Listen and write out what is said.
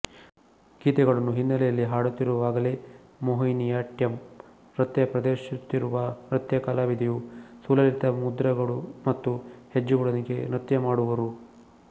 ಗೀತೆಗಳನ್ನು ಹಿನ್ನೆಲೆಯಲ್ಲಿ ಹಾಡುತ್ತಿರುವಾಗಲೇ ಮೋಹಿನಿಯಾಟ್ಟಂ ನೃತ್ಯ ಪ್ರದರ್ಶಿಸುತ್ತಿರುವ ನೃತ್ಯಕಲಾವಿದೆಯು ಸುಲಲಿತ ಮುದ್ರಗಳು ಮತ್ತು ಹೆಜ್ಜೆಗಳೊಂದಿಗೆ ನೃತ್ಯ ಮಾಡುವರು